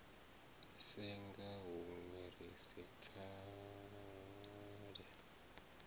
senga hunwe ri si pfale